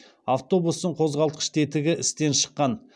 автобустың қозғалтқыш тетігі істен шыққан